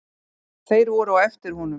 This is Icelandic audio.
Þeir voru á eftir honum.